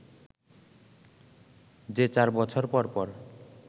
যে চার বছর পর পর